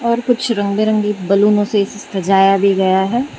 यहां पर कुछ रंग बिरंगी बैलूनों से सजाया भी गया है।